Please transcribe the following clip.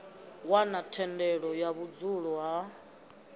wana thendelo ya vhudzulo ha